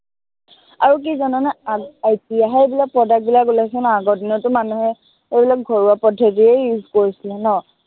আৰু কি জাননে, আহ এতিয়াহে এইবিলাক product বিলাক ওলাইছে ন, আগৰ দিনতটো মানুহে এইবিলাক ঘৰুৱা পদ্ধতিয়ে use কৰিছিলে ন?